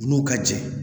U n'u ka jɛ